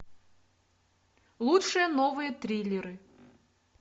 лучшие новые триллеры